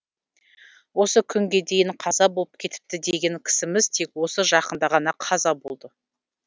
осы күнге дейін қаза болып кетіпті деген кісіміз тек осы жақында ғана қаза болды